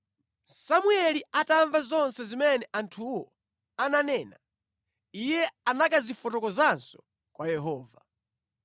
Samueli atamva zonse zimene anthuwo ananena, iye anakazifotokozanso kwa Yehova.